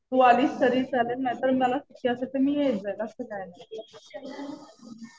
तू आलीस तरी चालेल. नाहीतर मला शक्य असेल तर मी येऊन जाईल. असं काही नाही.